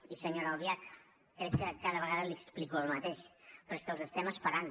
i senyora albiach crec que cada vegada li explico el mateix però és que els estem esperant